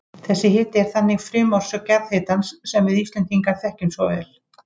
Þessi hiti er þannig frumorsök jarðhitans sem við Íslendingar þekkjum svo vel.